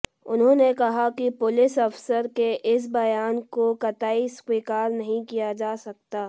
उन्होंने कहा कि पुलिस अफ़सर के इस बयान को क़तई स्वीकार नहीं किया जा सकता